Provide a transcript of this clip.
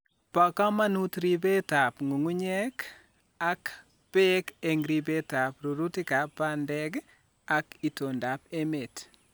Bo kamanut ribetab ng'ung'unyek ak beek en en ribetab rurutikab bandek ak itondab �met